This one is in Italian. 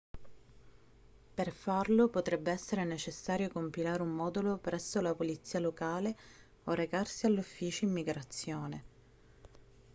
per farlo potrebbe essere necessario compilare un modulo presso la polizia locale o recarsi all'ufficio immigrazione